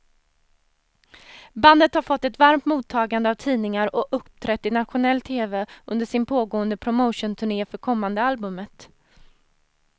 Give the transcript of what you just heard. Bandet har fått ett varmt mottagande av tidningar och uppträtt i nationell tv under sin pågående promotionturné för kommande albumet.